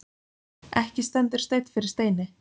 Ekki stendur steinn yfir steini